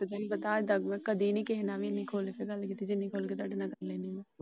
ਨਹੀਂ ਤਾਂ ਤੁਹਾਨੂੰ ਪਤਾ ਮੈ ਕਦੀ ਨਹੀਂ ਕਿਸੇ ਨਾਲ ਖੁੱਲ ਕੇ ਕੀਤੀ ਜਿੰਨੀ ਤੁਹਾਡੇ ਨਾਲ ਕਰ ਲੈਣੀ ਆ।